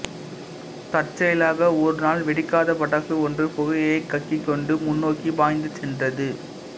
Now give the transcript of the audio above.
தற்செயலாக ஒரு நாள் வெடிக்காத பட்டாசு ஒன்று புகையைக் கக்கிக்கொண்டு முன்னோக்கி பாய்ந்து சென்றது